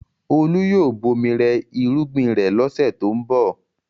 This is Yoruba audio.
Olú yóò bomi rẹ irúgbìn rẹ̀ lọ́sẹ̀ tó ń bọ̀.